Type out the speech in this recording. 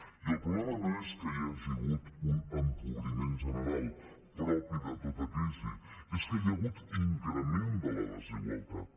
i el problema no és que hi hagi hagut un empobriment general propi de tota crisi és que hi ha hagut increment de la desigualtat